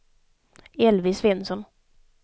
Elvy Svensson